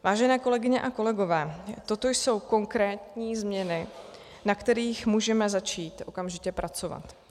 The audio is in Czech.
Vážené kolegyně a kolegové, toto jsou konkrétní změny, na kterých můžeme začít okamžitě pracovat.